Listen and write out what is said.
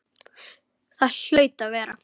Það hlaut að vera.